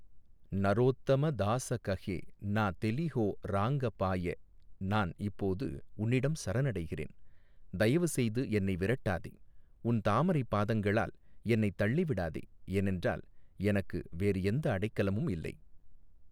நரோத்தம தாச கஹே நா தெலிஹொ ராங்கா பாய நான் இப்போது உன்னிடம் சரணடைகிறேன் தயவுசெய்து என்னை விரட்டாதே உன் தாமரை பாதங்களால் என்னை தள்ளிவிடாதே ஏனென்றால் எனக்கு வேறு எந்த அடைக்கலமும் இல்லை.